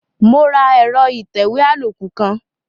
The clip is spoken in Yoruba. Mo ra ẹ̀rọ ìtẹ̀wé àlòkù kan.